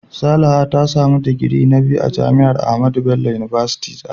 Salaha ta samu digiri na biyu a jami'ar AHMADU BELLO UNIVERSITY Zaria.